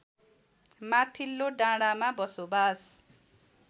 माथिल्लो डाँडामा बसोबास